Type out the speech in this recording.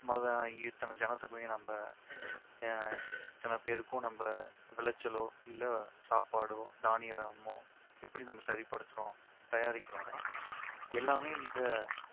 மொத இத்தனை ஜனத்தொகையுமே நம்ம அஹ் இத்தனை பேருக்கும் நம்ப விளைச்சலோ இல்ல சாப்பாடோ தானியமோ எப்படி நம்ம சரிபடுத்துறோம் தயாரிக்கிறோம்னா எல்லாமே இந்த